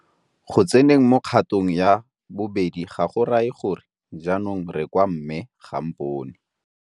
Go tseneng mo kgatong ya bobedi ga go raye gore jaanong re kwa mme ga a mpone.